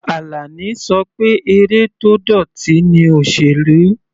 Alani ṣọ pé eré tó dọ̀tí ni òsèlú.